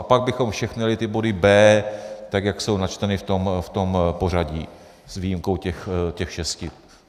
A pak bychom všechny ty body B, tak jak jsou načteny v tom pořadí, s výjimkou těch šesti.